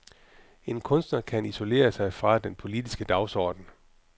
En kunstner kan isolere sig fra den politiske dagsorden.